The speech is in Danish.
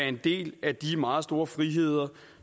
en del af de meget store friheder